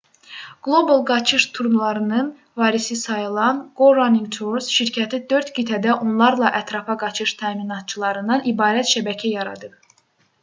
qlobal qaçış turlarının varisi sayılan go running tours şirkəti 4 qitədə onlarla ətrafa qaçış təminatçılarından ibarət şəbəkə yaradıb